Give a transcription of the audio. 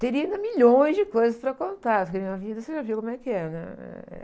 Teria ainda milhões de coisas para contar, porque na minha vida, você já viu como é que é, né? Eh...